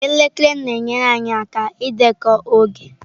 Elekere na-enyere anyị aka ịdekọ oge.